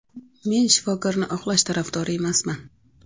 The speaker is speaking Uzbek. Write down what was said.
Men shifokorni oqlash tarafdori emasman.